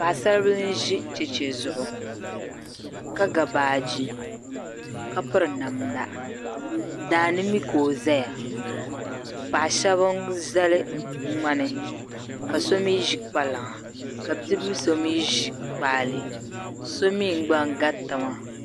Paɣi saribili nʒi cheche zuɣu, ka ga baaji kapiri namda daani mi ka ɔ zaya paɣi shabi n zali ŋmani ka so mi ʒi kpalaŋa, kabibilisɔ mi ʒi kpaale somi gba n gariti maa.